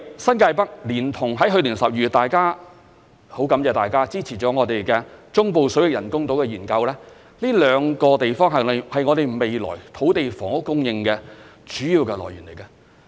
新界北連同——去年12月很感謝大家支持了我們——中部水域人工島的研究，這兩個地方是我們未來土地房屋供應的主要來源。